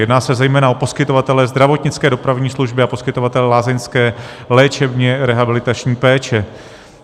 Jedná se zejména o poskytovatele zdravotnické dopravní služby a poskytovatele lázeňské léčebně rehabilitační péče.